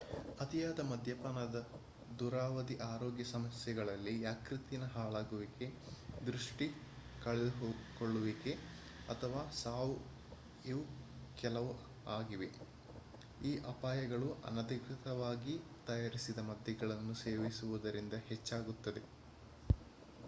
ಅತಿಯಾದ ಮದ್ಯಪಾನದ ದೂರಾವಧಿ ಆರೋಗ್ಯ ಸಮಸ್ಯೆಗಳಲ್ಲಿ ಯಕೃತ್ತಿನ ಹಾಳಾಗುವಿಕೆ ದೃಷ್ಟಿ ಕಳೆದುಕೊಳ್ಳುವಿಕೆ ಅಥವಾ ಸಾವು ಇವೂ ಕೆಲವು ಆಗಿವೆ ಈ ಅಪಾಯಗಳು ಅನಧಿಕೃತವಾಗಿ ತಯಾರಿಸಿದ ಮದ್ಯಗಳನ್ನು ಸೇವಿಸುವುದರಿಂದ ಹೆಚ್ಚಾಗುತ್ತದೆ